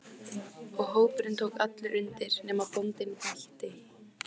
Og hópurinn tók allur undir: nema bóndinn bætti.